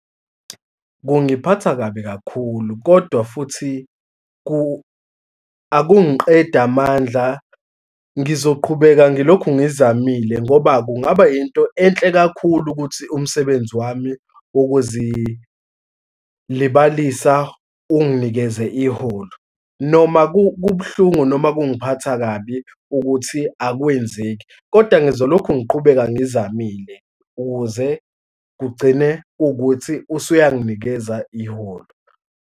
Kungiphatha kabi kakhulu, kodwa futhi akungiqedi amandla, ngizoqhubeka ngilokhu ngizamile ngoba kungaba yinto enhle kakhulu ukuthi umsebenzi wami wokuzilibalisa unginikeze iholo, noma kubuhlungu, noma kungiphatha kabi ukuthi akwenzeki. Koda ngizolokhu ngiqhubeka ngizamile ukuze kugcine kuwukuthi usuyanginikeza iholo.